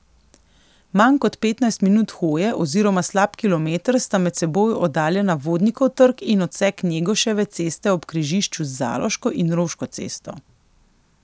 Manj kot petnajst minut hoje oziroma slab kilometer sta med seboj oddaljena Vodnikov trg in odsek Njegoševe ceste ob križišču z Zaloško in Roško cesto.